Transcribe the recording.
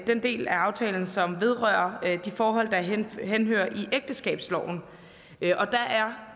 den del af aftalen som vedrører de forhold der henhører i ægteskabsloven og der er